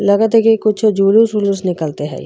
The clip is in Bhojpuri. लगता की कुछ जुलुस उलुस निकलत हई।